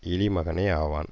இழிமகனே ஆவான்